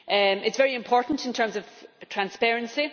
It is very important in terms of transparency.